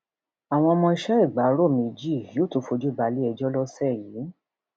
àwọn ọmọọṣẹ ìgbárò ọmọọṣẹ ìgbárò méjì yóò tún fojú balẹẹjọ lọsẹ yìí